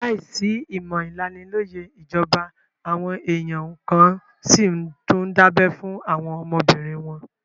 Láìsí ìmọ̀ ìlanilóyẹ̀ ìjọba, àwọn èèyàn kan n síi tún dábẹ́ fún àwọn ọmọbìnrin wọn